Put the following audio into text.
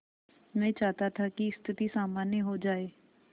मैं चाहता था कि स्थिति सामान्य हो जाए